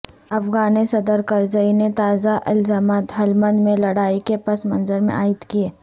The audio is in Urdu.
افغان صدر کرزئی نے تازہ الزامات ہلمند میں لڑائی کے پس منظر میں عائد کیے